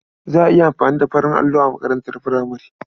Za a iya amfani da farin allo a makarantar furamare.